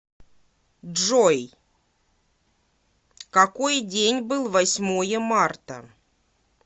джой какой день был восьмое марта